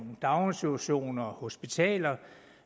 daginstitutioner og hospitaler